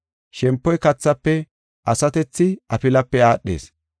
Shempoy kathafe, asatethi afilape aadhees.